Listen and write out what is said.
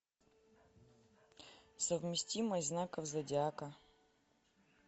совместимость знаков зодиака